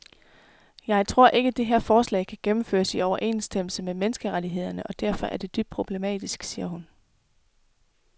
Jeg tror ikke, det her forslag kan gennemføres i overensstemmelse med menneskerettighederne og derfor er det dybt problematisk, siger hun.